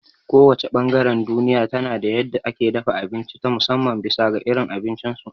Ko wace ɓangaren duniya tana da yadda ake dafa abinci ta musamman bisa ga irin abincin su